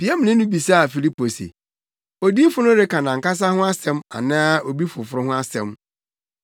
Piamni no bisaa Filipo se, “Odiyifo no reka nʼankasa ho asɛm anaa obi foforo ho asɛm?”